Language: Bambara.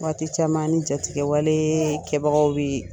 Waati caman an ni jatigɛ wale kɛbagaw bi